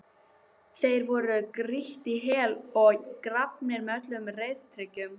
Þeir voru grýttir í hel og grafnir með öllum reiðtygjum.